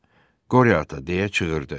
Tələbə Qoryo ata, deyə çığırdı.